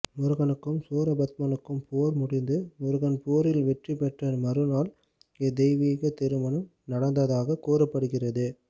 முருகனுக்கும் சூரபத்மனுக்கும் போர் முடிந்து முருகன் போரில் வெற்றி பெற்ற மறுநாள் இத்தெய்வீகத்திருமணம் நடந்ததாகக் கூறப்படுகிறது